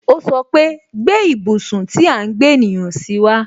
O sọpe "Gbé ibùsùn tí à ń gbé ènìyàn si wa